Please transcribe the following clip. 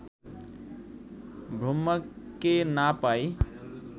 ব্রহ্মাকে না পাই